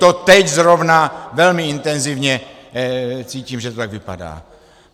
To teď zrovna velmi intenzivně cítím, že to tak vypadá.